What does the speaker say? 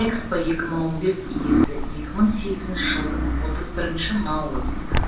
экспо екі мың он бес иесі екі мың сегізінші жылдың отыз бірінші наурызында